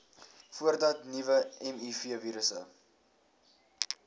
voordat nuwe mivirusse